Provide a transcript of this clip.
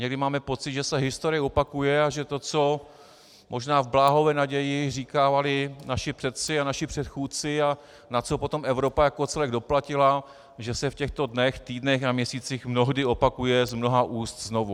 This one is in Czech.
Někdy máme pocit, že se historie opakuje a že to, co možná v bláhové naději říkávali naši předci a naši předchůdci a na co potom Evropa jako celek doplatila, že se v těchto dnech, týdnech a měsících mnohdy opakuje z mnoha úst znovu.